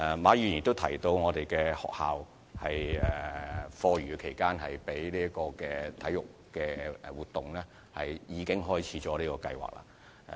馬議員亦提到有學校在課餘時間用作舉行體育活動，而有關計劃亦已開展。